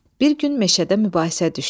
Bir gün meşədə mübahisə düşdü.